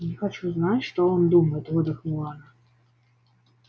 я не хочу знать что он думает выдохнула она